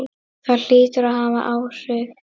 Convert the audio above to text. Það hlýtur að hafa áhrif.